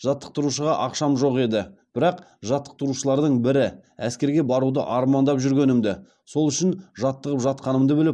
жаттықтырушыға ақшам жоқ еді бірақ жаттықтырушылардың бірі әскерге баруды армандап жүргенімді сол үшін жаттығып жатқанымды біліп